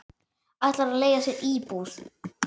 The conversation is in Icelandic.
Ætlar að leigja sér íbúð.